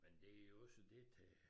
Men det jo også det til